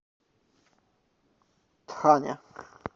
тхане